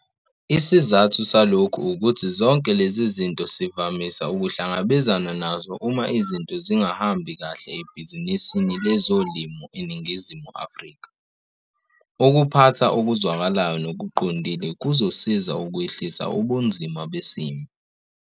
Isizathu salokhu ukuthi zonke lezi zinto sivamisa ukuhlangabezana nazo uma izinto zingahambi kahle ebhizinisini lezolimo eNingizimu Afrika. Ukuphatha okuzwakalayo nokuqondile kuzosiza ukwehlisa ubunzima besimo.